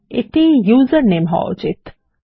এটি ইউজারনেম হওয়া উচিত